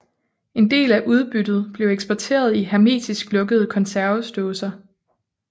En del af udbyttet blev eksporteret i hermetisk lukkede konservesdåser